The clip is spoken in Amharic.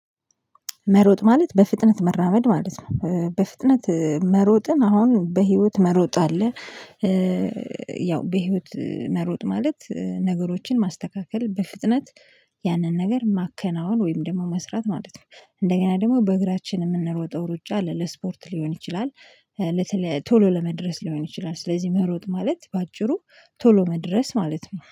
መሮጥ ማለት በፍጥነት መራመድ ማለት ነው በፍጥነት መሮጥን አሁን በህይወት መሮጥ አለ። ያው በህይወት መሮጥ ማለት ነገሮችን ማስተካከል በፍጥነት ያንን ነገር ማከናወን ወይም ደግሞ መስራት ማለት ነው። እንደገና ደግሞ በእግራችን እምንሮጠው ሩጫ አለ ለስፖርት ሊሆን ይችላል። ለተለያየ ቶሎ ለመድረስ ሊሆን ይችላል ስለዚህ መሮጥ ማለት በአጭሩ ቶሎ መድረስ ማለት ነው